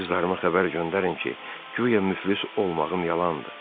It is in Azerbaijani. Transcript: Qızlarıma xəbər göndərin ki, guya müflis olmağım yalandır.